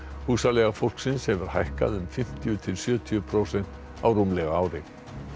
húsaleiga fólksins hefur hækkað um fimmtíu til sjötíu prósent á rúmlega ári